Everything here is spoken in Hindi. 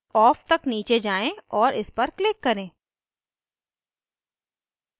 off तक नीचे जाएँ और इस पर click करें